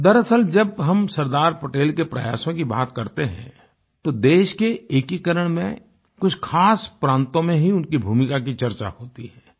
दरअसल जब हम सरदार पटेल के प्रयासों की बात करते हैं तो देश के एकीकरण में कुछ खास प्रान्तों में ही उनकी भूमिका की चर्चा होती है